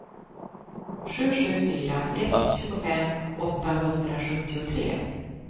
sju sju fyra ett tjugofem åttahundrasjuttiotre